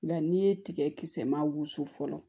Nka n'i ye tigɛ kisɛ maa wusu fɔlɔ